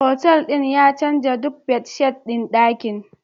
Hotel din ya canza duk bedsheet ɗin ɗakin